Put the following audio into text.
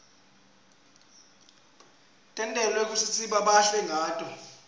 tentelwe kutsisibe bahle ngato